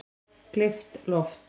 Gleypt loft